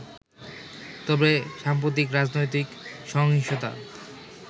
তবে সাম্প্রতিক রাজনৈতিক সহিংসতা